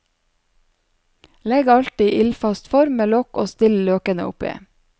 Legg alt i ildfast form med lokk og still løkene oppi.